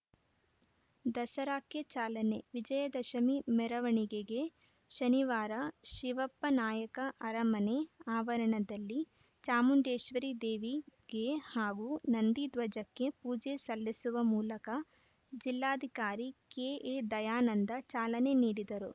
ದಸರಾಕ್ಕೆ ಚಾಲನೆ ವಿಜಯದಶಮಿ ಮೆರವಣಿಗೆಗೆ ಶನಿವಾರ ಶಿವಪ್ಪನಾಯಕ ಅರಮನೆ ಆವರಣದಲ್ಲಿ ಚಾಮುಂಡೇಶ್ವರಿ ದೇವಿಗೆ ಹಾಗೂ ನಂದಿ ಧ್ವಜಕ್ಕೆ ಪೂಜೆ ಸಲ್ಲಿಸುವ ಮೂಲಕ ಜಿಲ್ಲಾಧಿಕಾರಿ ಕೆ ಎ ದಯಾನಂದ ಚಾಲನೆ ನೀಡಿದರು